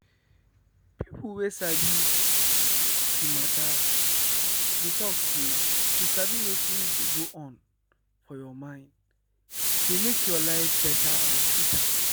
people wey sabi the matter dey talk say to sabi wetin dey go on for your mind dey make your life better and sweeter